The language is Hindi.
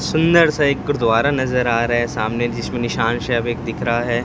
सुंदर सा एक गुरुद्वारा नजर आ रहा है सामने जिसमें निशान दिख रहा हैं।